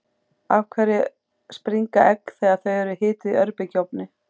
af hverju springa egg þegar þau eru hituð í örbylgjuofni